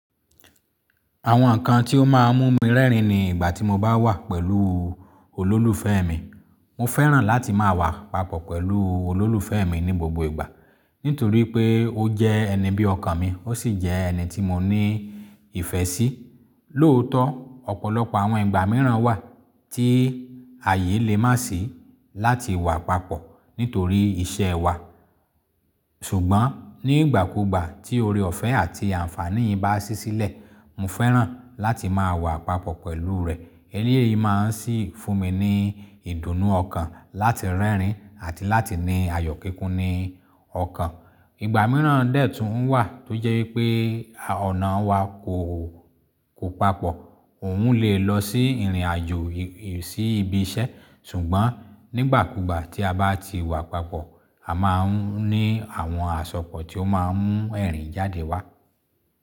Àwọn nǹkan tí ó máa ń mú mi rẹ́rìn-ín ni ìgbà tí mo bá wà pẹ̀lú olólùfẹ́ mi. Mo fẹ́ràn láti máa wà papọ̀ pẹ̀lú olólùfẹ́ mi ní gbogbo ìgbà nítorí pé ó jẹ́ ẹni bí ọkàn mi, ó sì jẹ́ ẹni tí mo ní ìfẹ́ sí. Lóòótọ́, ọ̀pọ̀lọpọ̀ àwọn ìgbà mìíràn wà tí ààyè lè má sì láti wà papọ̀ nítorí iṣẹ́ wa. Ṣùgbọ́n nígbàkúgbà tí oore ọ̀fẹ́ àti àǹfààní yi bá sì sílẹ̀, mo fẹ́ràn láti máa wà papọ̀ pẹ̀lú rẹ̀. Eléyìí máa ń sì fún mi ní ìdùnnú ọkàn láti rẹ́rìn-ín àti láti ní ayọ̀ kíkún ní ọkàn. Ìgbà mìíràn dè tó ń wà tó jẹ́ wípé ọ̀nà wa kò, kò papọ̀. Òun lè lọ sí ìrìnàjò, sí ibi iṣẹ́. Ṣùgbọ́n nígbàkúgbà tí a bá ti wà papọ̀, a máa ń ní àwọn àsopọ̀ tí ó máa ń mú ẹ̀rín jáde wá.